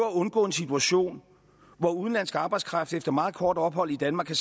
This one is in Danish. at undgå den situation at udenlandsk arbejdskraft efter meget kort ophold i danmark kan